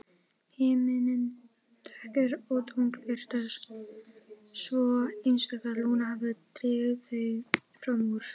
Himinninn dökkur og tunglbirtan svo einstök að Lúna hafði dregið þau fram úr.